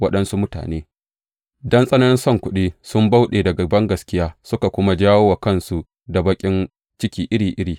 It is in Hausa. Waɗansu mutane, don tsananin son kuɗi, sun bauɗe daga bangaskiya suka kuma jawo wa kansu da baƙin ciki iri iri.